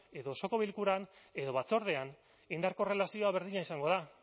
edo osoko bilkuran edo batzordean indar korrelazioa berdina izango da